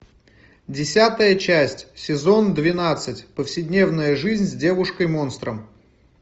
десятая часть сезон двенадцать повседневная жизнь с девушкой монстром